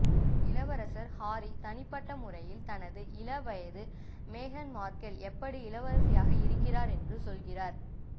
இளவரசர் ஹாரி தனிப்பட்ட முறையில் தனது இளவயது மேகன் மார்கெல் எப்படி இளவரசியாக இருக்கிறார் என்று சொல்கிறார்